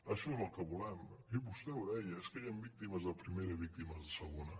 això és el que volem i vostè ho deia és que hi han víctimes de primera i víctimes de segona